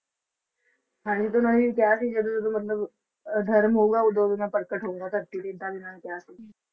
ਤਾਂਹੀ ਤਾ ਉਹਨਾਂ ਨੇ ਕਿਹਾ ਸੀ ਜਦੋਂ ਜਦੋਂ ਮਤਲੱਬ ਅਧਰਮ ਹੋਉਗਾ ਉਦੋਂ ਉਦੋਂ ਮੈਂ ਪ੍ਰਗਟ ਹੋਉਗਾ ਧਰਤੀ ਤੇ ਏਦਾਂ ਉਹਨਾਂ ਨੇ ਕਿਹਾ ਸੀ।